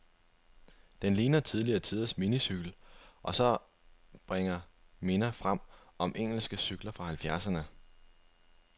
Den ligner tidligere tiders minicykel, og bringer minder frem om engelske cykler fra halvfjerdserne.